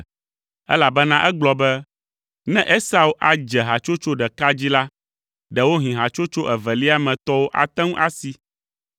elabena egblɔ be, “Ne Esau adze hatsotso ɖeka dzi la, ɖewohĩ hatsotso evelia me tɔwo ate ŋu asi.”